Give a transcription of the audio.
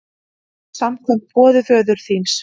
Samkvæmt boði föður þíns!